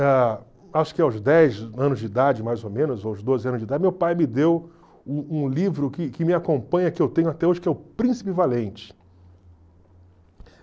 Ah acho que aos dez anos de idade, mais ou menos, ou aos doze anos de idade, meu pai me deu um um livro que que me acompanha, que eu tenho até hoje, que é o Príncipe Valente.